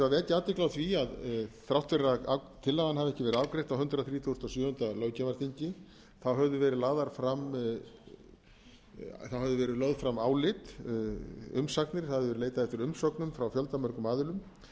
vekja athygli á því að þrátt fyrir að tillagan hafi ekki verið afgreidd á hundrað þrítugasta og sjöunda löggjafarþingi þá höfðu verið lögð fram álit umsagnir það hafði verið leitað eftir umsögnum frá fjöldamörgum aðilum